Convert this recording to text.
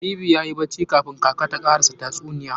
Habibu yayi bacci kafun kaka ta karsa tatsuniya.